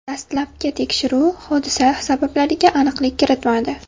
Dastlabki tekshiruv hodisa sabablariga aniqlik kiritmadi.